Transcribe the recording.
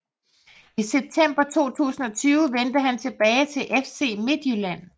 I september 2020 vendte han tilbage til FC Midtjylland